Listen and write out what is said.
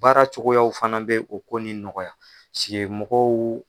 Baara cogoyaw fana bɛ o ko nin nɔgɔya mɔgɔw.